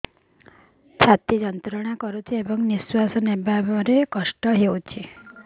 ଛାତି ଯନ୍ତ୍ରଣା କରୁଛି ଏବଂ ନିଶ୍ୱାସ ନେବାରେ କଷ୍ଟ ହେଉଛି